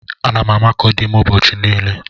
Ana m amakọ dim ụbọchị niile.